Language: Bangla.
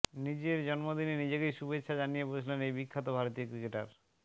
নিজের জন্মদিনে নিজেকেই শুভেচ্ছা জানিয়ে বসলেন এই বিখ্যাত ভারতীয় ক্রিকেটার